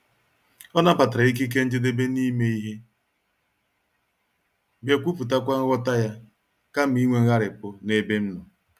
Ọ nabatara ikike njedebe n'ime ihe, bịa kwuputakwa nghọta ya, kama inwe ngharipu n'ebe m nọ.